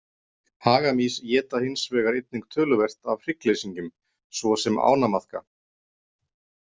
Hagamýs éta hins vegar einnig töluvert af hryggleysingjum svo sem ánamaðka.